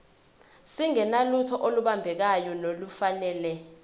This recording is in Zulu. singenalutho olubambekayo nolufanele